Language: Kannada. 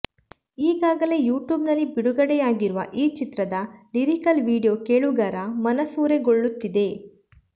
ಈಗಾಗಲೇ ಯೂಟ್ಯೂಬ್ ನಲ್ಲಿ ಬಿಡುಗಡೆಯಾಗಿರುವ ಈ ಚಿತ್ರದ ಲಿರಿಕಲ್ ವಿಡಿಯೋ ಕೇಳುಗರ ಮನಸೂರೆಗೊಳ್ಳುತ್ತಿದೆ